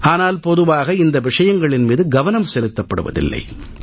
ஆனால் பொதுவாக இந்த விஷயங்களின் மீது கவனம் செலுத்தப்படுவதில்லை